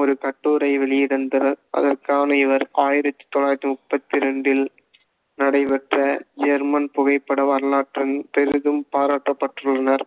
ஒரு கட்டுரை வெளியிடுந்தார். அதற்கான இவர் ஆயிரத்தி தொள்ளாயிரத்தி முப்பத்தி ரெண்டில் நடைபெற்ற ஜெர்மன் புகைப்பட வரலாற்றரங்~ பெரிதும் பாராட்டப்பட்டுள்ளனர்